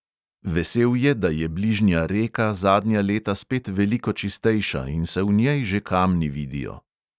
Vesel je, da je bližnja reka zadnja leta spet veliko čistejša in se v njej že kamni vidijo.